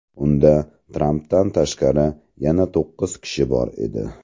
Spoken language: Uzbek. Unda, Trampdan tashqari, yana to‘qqiz kishi bor edi.